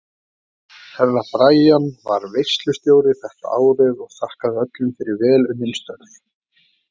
Herra Brian var veislustjóri þetta árið og þakkaði öllum fyrir vel unnin störf.